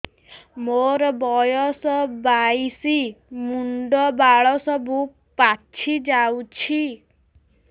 ମୋର ବୟସ ବାଇଶି ମୁଣ୍ଡ ବାଳ ସବୁ ପାଛି ଯାଉଛି